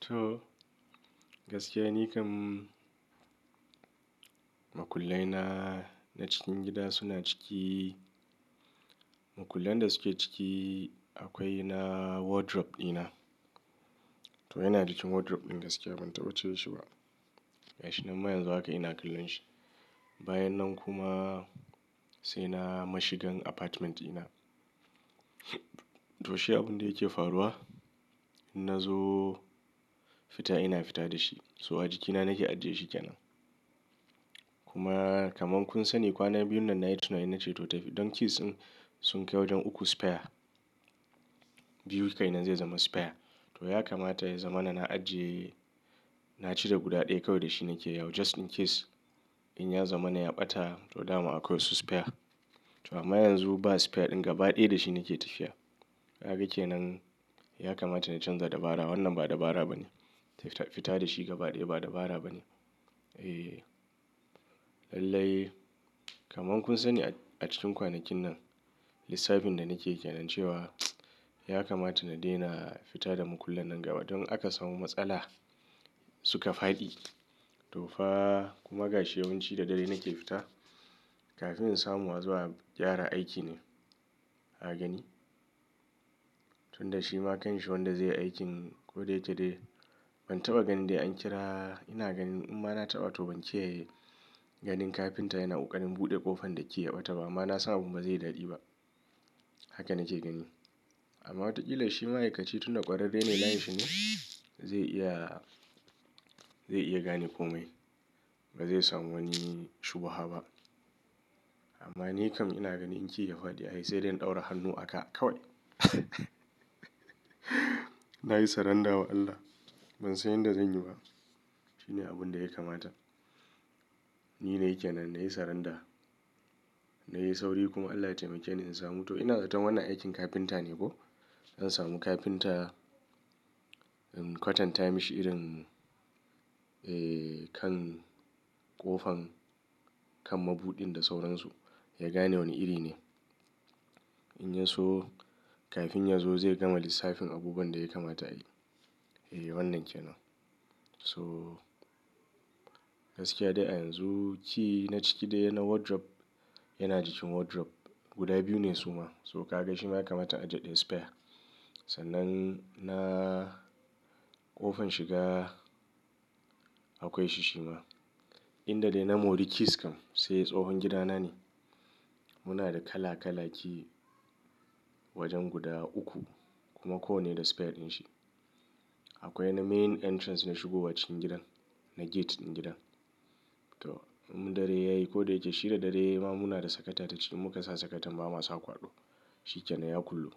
To gaskiya ni kam makullaina na cikin gida suna ciki. Makullan da suke ciki akwai na wardrobe dina. To yana jikin wardrobe din gaskiya ban taɓa cire shi ba. Ga shi nan ma yanzu haka ina kallon shi. Bayan nan kuma sai na mashigan apartment dina. To shi abun da yake faruwa, in na zo fita ina fita da shi. So a jikina nake ajiye shi kenan. Kuma kaman kun sani kwan biyun nan na yi tunani na ce to tafi, dan keys din sun kai wajen uku spare. Biyu kenan zai zama spare. To ya kamata ya zamana na ajiye, na cire guda ɗaya kawai da shi nake yawo just in case in ya zamana ya ɓata to dama akwai wasu spare. To amma yanzu ba spare ɗin gaba ɗaya da shi nake tafiya. Ha ga kenan ya kamata na canza dabara wannan ba dabara ba ne. Fita da shi gaba ɗaya ba dabara ba ne. Eh lallai kaman kun sani a cikin kwanakin nan lissafin da nake kenan cewa ya kamata na daina fita da makullan nan gabadaya don aka samu matsala suka faɗi. To fa kuma ga shi yawanci da dare nake fita kafin in samu a zo a gyara aiki ne, ka gani. Tunda shi ma kanshi wanda zai yi aikin koda yake dai ban taɓa ganin dai an kira. Ina ganin in ma na taɓa to ban ce ganin kafinta yana ƙoƙarin buɗe ƙofan da ke yaɓata ba amma na san abun bazai yi daɗi ba. Haka nake gani. Amma wataƙila shi ma'aikaci tunda ƙwararre ne layinshi ne zai iya, zai iya gane komai. Ba zai samu wani shubha ba. Amma ni kam ina gani in ki ya faɗi ai saidai in ɗaura hannu a ka kawai. Na yi saranda wa Allah ban san yadda zan yi ba. Shi ne abun da ya kamata. Ni na yi kenan na yi saranda. Na yi sauri kuma Allah ya taimake ni in samu. To ina zaton wannan aikin kafinta ne ko? Zan samu kafinta in kwatanta mashi irin eh kan ƙofan kan mabudin da sauransu ya gane wane iri ne. In ya so kafin ya zo zai gama lissafin abubuwan da ya kamata a yi. Eh wannan kenan. So gaskiya dai a yanzuki na ciki dai na wardrobe yana jikin wardrobe. Guda biyu ne su ma so ka ga shi ma ya kamata a ajiye daya spare. Sannan na ƙofan shiga akwai shi shi ma. Inda dai na mori keys kam sai tsohon gidana ne. Muna da kala kala Ki wajen guda uku kuma kowanne da spare din shi. Akwai na main entrance na shigowa cikin gidan na get din gidan. To in dare ya yi ko da yake shi da dare ya yi ma muna da sakata ta ciki muka sa sakatan ba ma sa kwaɗo. Shi kenan ya kullu.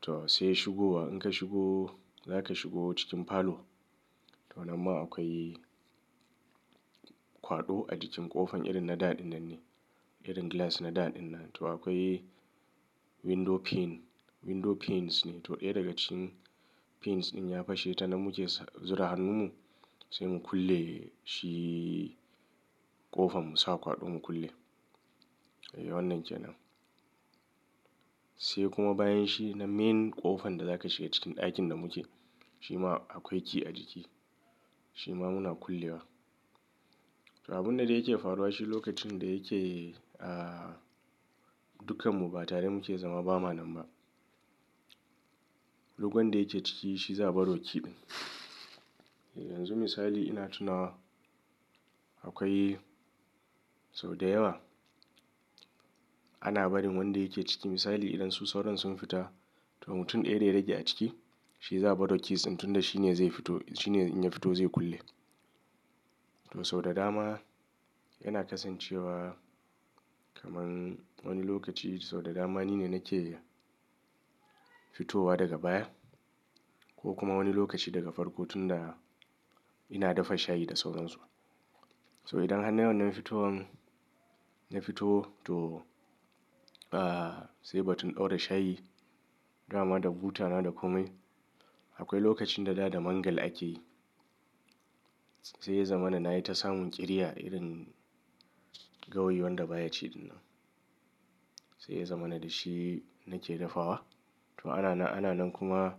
To sai shigowa in ka shigo za ka shigo cikin parlour. To nan ma akwai kwaɗo a jikin ƙofan irin na da ɗin nan ne irin glass na da ɗin nan. To akwai window pane, window panes ne to ɗaya daga cikin panes ɗin ya fashe ta namu ke zura hannunmu sai mu kulle shi ƙofan mu sa kwaɗo mu kulle. Eh wannan kenan. Sai kuma bayan shi na main ƙofan da za ka shiga cikin ɗakin da muke shi ma akwai ki a jiki. Shi ma muna kullewa. To abun da yake faruwa shi lokacin da yake ah dukkanmu ba tare muke zama bama nan ba. Duk wadda yake ciki shi za a bar wa ki din. Yanzu misali ina tunawa akwai sau da yawa ana barin wanda yake ciki, misali idan su sauron sun fita to mutum ɗaya da ya rage a ciki shi zaɓaro keys din tunda shi ne zai fito shi ne in ya fito zai kulle. To sau da dama yana kasancewa kaman wani lokaci sau da dama ni ne nake fitowa daga baya ko kuma wani lokaci daga farko tunda ina dafa shayi da sauransu. So idan har na yi wannan fitowan, na fito to ah sai batun ɗaura shayi dama da butana da komai akwai lokacin da Da da Mangal ake yi sai ya zamana na yi ta samun ƙirya irin gawayi wanda baya ci ɗin nan. Sai ya zamana da shi nake dafawa. To ana nan, ana nan kuma.